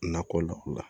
Nakɔ la